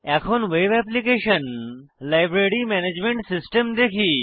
এখন web application library management system দেখি